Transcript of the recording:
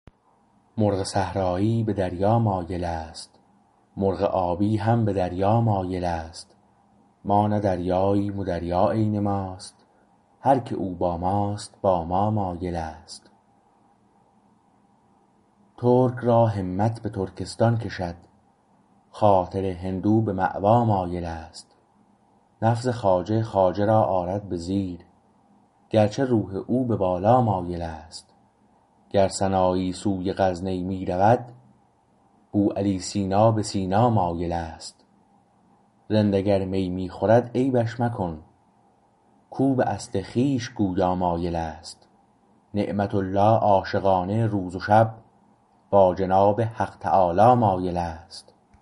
مرغ صحرایی به دریا مایل است مرغ آبی هم به دریا مایل است ما نه دریاییم و دریا عین ماست هر که او با ماست با ما مایل است ترک راهمت به ترکستان کشد خاطر هندو به مأوا مایل است نفس خواجه خواجه را آرد به زیر گرچه روح او به بالا مایل است گر سنایی سوی غزنی میرود بوعلی سینا به سینا مایل است رند اگر می می خورد عیبش مکن کو به اصل خویش گویا مایل است نعمت الله عاشقانه روز و شب با جناب حق تعالی مایل است